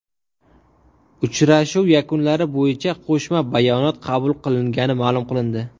Uchrashuv yakunlari bo‘yicha qo‘shma bayonot qabul qilingani ma’lum qilindi.